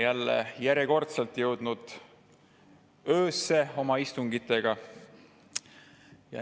Me oleme järjekordselt jõudnud öösse oma istungitega.